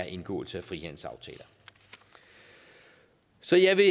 indgåelse af frihandelsaftaler så jeg vil